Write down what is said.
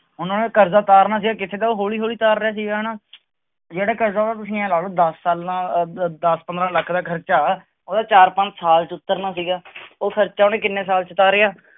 ਕਰਜ਼ਾ ਉਤਾਰਨਾ ਜੇ ਕਿੱਥੇ ਤਾਂ ਉਹ ਹੌਲੀ ਹੌਲੀ ਉਤਾਰ ਰਿਹਾ ਸੀਗਾ ਨਾ ਜਿਹੜਾ ਕਰਜ਼ਾ ਉਹ ਤੁਸੀਂ ਇਉਂ ਲਾ ਲਓ ਦਸ ਸਾਲਾਂ ਦਸ ਪੰਦਰਾਂ ਲੱਖ ਦਾ ਖ਼ਰਚਾ, ਉਹਦਾ ਚਾਰ ਪੰਜ ਸਾਲ ਚ ਉਤਰਨਾ ਸੀਗਾ ਉਹ ਖ਼ਰਚਾ ਉਹਨੇ ਕਿੰਨੇ ਸਾਲ ਚ ਉਤਾਰਿਆ,